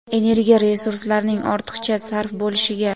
energiya resurslarning ortiqcha sarf bo‘lishiga;.